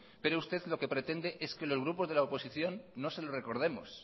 pero usted lo que pretende es que los grupos de la oposición no se lo recordemos